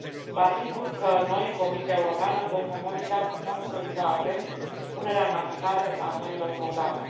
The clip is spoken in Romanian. Vă asigur că noi, Comisia Europeană, vom monitoriza atent punerea în aplicare a noilor programe.